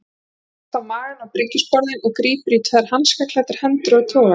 Hann leggst á magann á bryggjusporðinn og grípur í tvær hanskaklæddar hendur og togar.